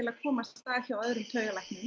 að komast að hjá öðrum taugalæknum